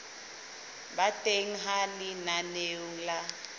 ba teng ha lenaneo la